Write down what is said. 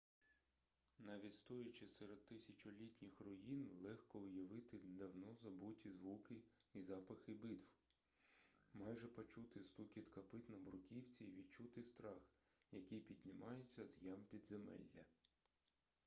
навіть стоячи серед тисячолітніх руїн легко уявити давно забуті звуки і запахи битв майже почути стукіт копит на бруківці і відчути страх який піднімається з ям підземелля